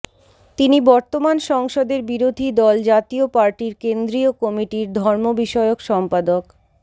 তিনি বর্তমান সংসদের বিরোধী দল জাতীয় পার্টির কেন্দ্রীয় কমিটির ধর্ম বিষয়ক সম্পাদক